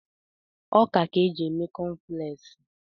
Ọka ka e ji eme kọnflẹksi.